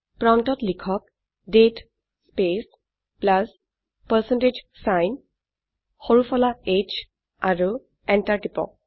প্ৰম্পটত লিখক দাঁতে স্পেচ প্লাছ পাৰচেণ্টেজ ছাইন সৰু ফলা h আৰু এন্টাৰ টিপক